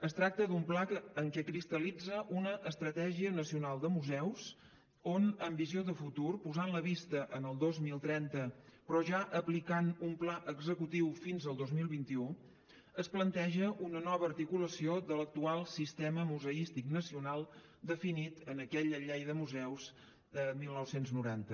es tracta d’un pla en què cristal·litza una estratègia nacional de museus on amb visió de futur posant la vista en el dos mil trenta però ja aplicant un pla executiu fins al dos mil vint u es planteja una nova articulació de l’actual sistema museístic nacional definit en aquella llei de museus de dinou noranta